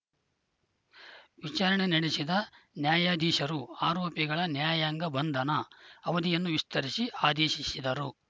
ವಿಚಾರಣೆ ನಡೆಸಿದ ನ್ಯಾಯಾಧೀಶರು ಆರೋಪಿಗಳ ನ್ಯಾಯಾಂಗ ಬಂಧನ ಅವಧಿಯನ್ನು ವಿಸ್ತರಿಸಿ ಆದೇಶಿಸಿದರು